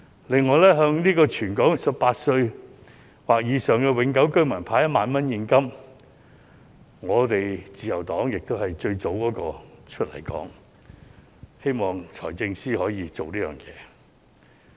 此外，關於向全港18歲或以上的香港永久性居民派發1萬元現金的安排，自由黨亦是最早出來爭取，希望財政司司長可以落實。